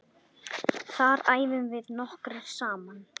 Þar æfum við nokkrir saman.